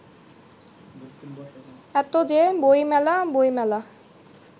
এত যে বইমেলা বইমেলা